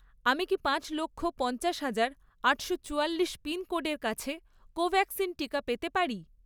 আমি কি পাঁচ লক্ষ, পঞ্চাশ হাজার, আটশো চুয়ালিশ পিনকোডের কাছে কোভ্যাক্সিন টিকা পেতে পারি?